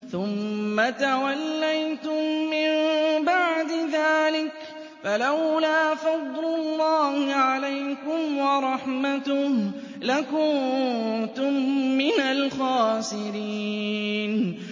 ثُمَّ تَوَلَّيْتُم مِّن بَعْدِ ذَٰلِكَ ۖ فَلَوْلَا فَضْلُ اللَّهِ عَلَيْكُمْ وَرَحْمَتُهُ لَكُنتُم مِّنَ الْخَاسِرِينَ